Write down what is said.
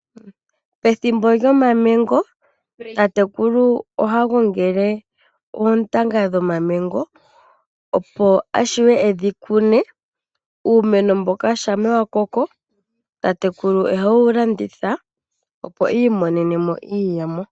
Pethimbo lyOmamengo tatekulu ohagongele oontanga dhOmamengo opo avule edhikune. Uumeno mboka shampa wakoko tatekulu ohewu landitha opo i imonene mo iiyemo.